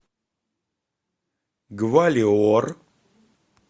гвалиор